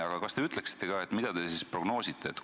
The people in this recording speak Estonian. Aga kas te ütleksite ka, mida te siis prognoosite?